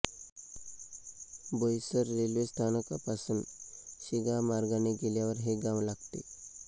Boisar railway स्थानकापासून शिगाव मार्गाने गेल्यावर हे गाव लागते